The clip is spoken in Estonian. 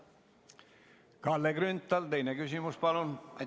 Kalle Grünthal, teine küsimus, palun!